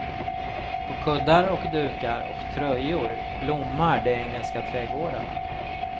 På kuddar och dukar och tröjor blommar de engelska trädgårdarna.